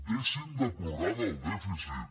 deixin de plorar del dèficit